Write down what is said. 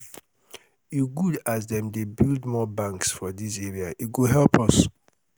e good as dem dey build more banks for dis area e go help us.